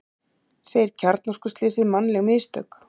Segir kjarnorkuslysið mannleg mistök